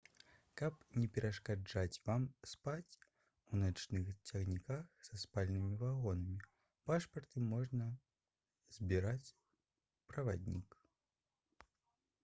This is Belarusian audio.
каб не перашкаджаць вам спаць у начных цягніках са спальнымі вагонамі пашпарты можа збіраць праваднік